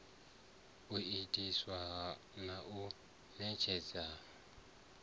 u itiwa na u ṋetshedzwa